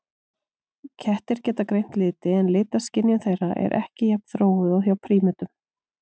Kettir geta greint liti en litaskynjun þeirra er ekki jafn þróuð og hjá prímötum.